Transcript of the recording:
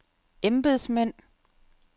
embedsmænd